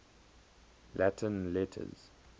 latin letters